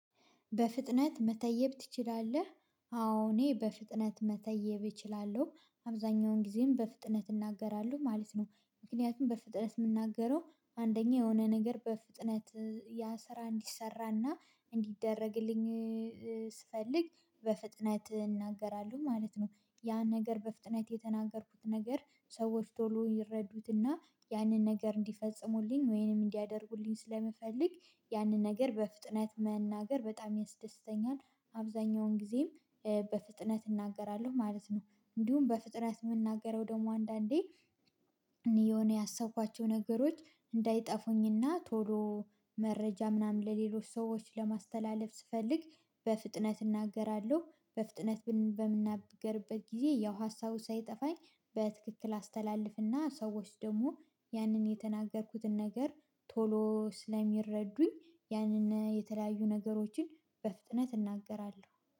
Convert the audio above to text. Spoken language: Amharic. በፍጥነት መተየብ ትችላለህ? አዎ እኔ በፍጥነት መተየብ እችላለሁ አብዛኛውን ጊዜም በፍጥነት እናገራለሁ ማለት ነው ምክንያቱም በፍጥነት የምናገረው አንደኛ የሆነ ነገር በፍጥነት ያ ስራ እንዲሰራና እንዲደረግልኝ ስፈልግ በፍጥነት እናገራለሁ ማለት ነው ያን ነገር በፍጥነት የተናገርኩት ነገር ሰዎች ቶሎ ይረዱትና ያንን ነገር እንዲፈጽሙልኝ ወይንም እንዲያደርጉልኝ ስለምፈልግ ያንን ነገር በፍጥነት መናገር በጣም ያስደስተኛል አብዛኛውን ጊዜም በፍጥነት እናገራለሁ ማለት ነው እንዲሁም በፍጥነት የምናገረው ደግሞ አንዳንዴ እኔ የሆነ ያሰብኳቸው ነገሮች እንዳይጠፉኝና ቶሎ መረጃ ምናምን ለሌሎች ሰዎች ለማስተላለፍ ስፈልግ በፍጥነት እናገራለሁ በፍጥነት በምናገርበት ጊዜ ያው ሀሳቡ ሳይጠፋኝ በትክክል አስተላልፍና ሰዎች ደግሞ ያንን የተናገርኩትን ነገር ቶሎ ስለሚረዱኝ ያንን የተለያዩ ነገሮችን በፍጥነት እናገራለሁ